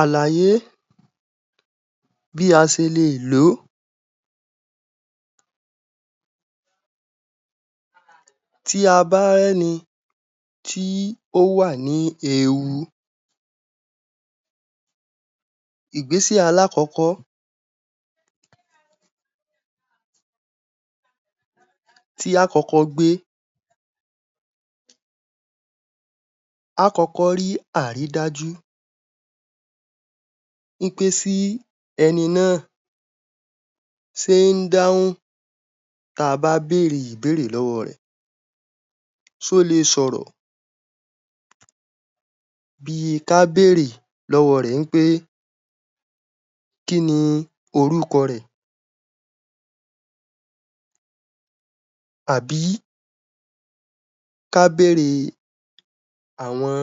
Àlàyé Bí A Ṣe Lè Lò ó. Tí a bá rí ẹni tí ó wà ní ewu. Ìgbéṣè alákọ̀ọ́kọ́ tí a ó kọ́kọ́ gbé. Kọ́kọ̀ rí àrídájú pé sí ẹni náà ṣe ń dáhùn tí a bá béèrè ìbéèrè lọ́wọ́ rẹ̀, ṣe o lè sọ̀rọ̀. Bí kí a béèrè lọ́wọ́ rẹ̀ pé, kí ni orúkọ rẹ̀. Àbí kí a béèrè àwọn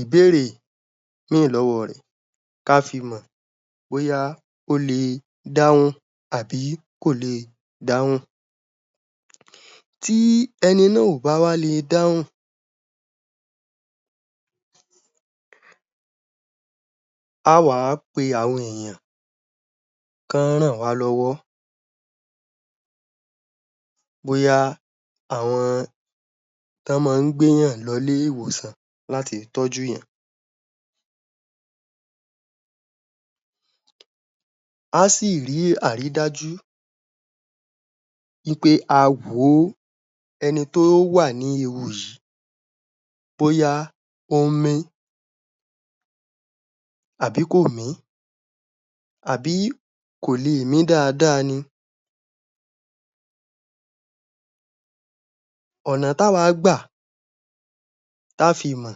ìbéèrè mí lọ́wọ́ rẹ̀ kí a fí mọ̀ bóyá ó le dáhùn àbí kò lè dáhùn. Tí ẹni náà ò bá wá le dáhùn á wàá pé àwọn èèyàn kán wọn ràn wá lọ́wọ́ bóyá àwọn tó máa gbé èèyàn lọ ilé-ìwòsàn láti tọ́jú èèyàn. A sì rí àrídájú wí pé a wo ẹni tó wà ní ewu yìí bóyá ó mí àbí kò mí àbí kò lè mí dáadáa ni. Ọ̀nà tí a wá gbà tá fí mọ̀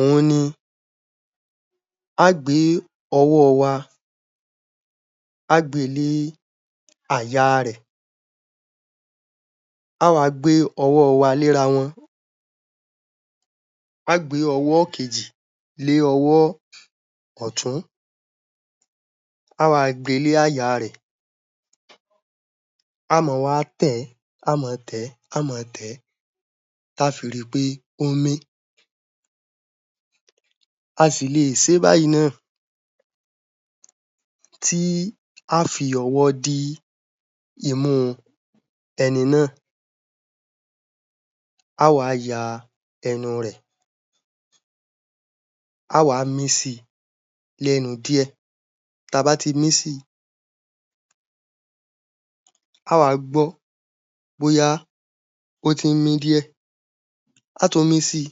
òhun ni a ó gbé ọwọ́ wa, á gbe lé àyà rẹ̀, a wá gbé ọwọ́ wa lé ara wọn. A ó gbé ọwọ́ kejì lé ọwọ́ ọ̀tún, a wá gbe lé àyà rẹ̀. A máa wá tẹ̀ ẹ́, a máa tẹ̀ ẹ́, a máa tẹ̀ ẹ́, tí a ó fi rí pé o ń mí. A sì lè ṣe é báyìí náà. Tí a ó fi ọwọ́ dì imú ẹni náà, á wa yan ẹnu rẹ̀, a wá mí si lẹ́nu díẹ̀. Tí a bá ti mí si, a wa gbọ́ bóyá ó tí mí díẹ̀. A ó tún mí si,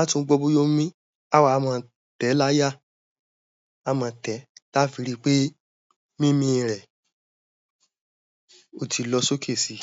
a tún gbọ́ bóyá ó mí. A wá máa tẹ̀ ẹ́ láyà, a máa tẹ̀ láyà tí a ó fi rí pé mímí rẹ̀ o ti lọ sí òkè si.